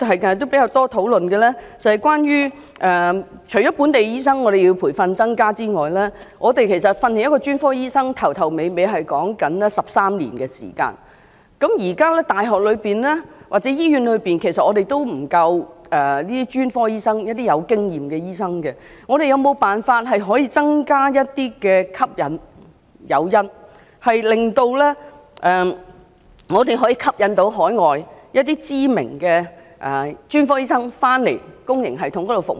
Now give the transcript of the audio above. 近日比較多討論關於除要增加培訓本地醫生的名額外——其實培訓一名專科醫生，從頭到尾，需要花13年的時間——現時大學或醫院裏也沒有足夠具經驗的專科醫生，我們有沒有辦法可以增加吸引力、誘因，令香港能夠吸引海外的知名的專科醫生回到香港的公營系統裏服務？